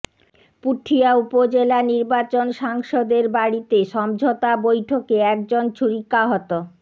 পুঠিয়া উপজেলা নির্বাচন সাংসদের বাড়িতে সমঝোতা বৈঠকে একজন ছুরিকাহত